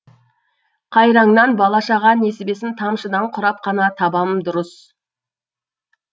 қайраңнан бала шаға несібесін тамшыдан құрап қана табам дұрыс